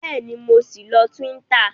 Bẹ́ẹ̀ni, mo ṣì ń lọ Twitter